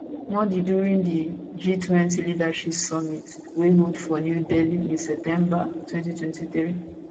modi during di g20 leaders summit wey hold for new delhi in september 2023